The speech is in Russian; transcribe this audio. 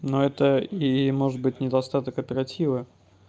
но это и может быть недостаток оперативы